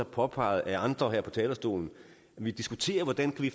påpeget af andre her på talerstolen at vi diskuterer hvordan vi